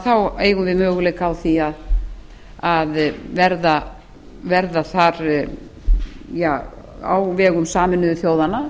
þá eigum við möguleika á því að verða þar á vegum sameinuðu þjóðanna